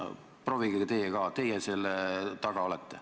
Proovige teie ka, teie selle taga olete.